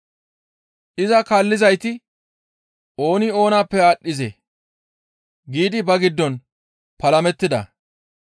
Iza kaallizayti, «Ooni oonappe aadhdhizee?» giidi ba giddon palamettida.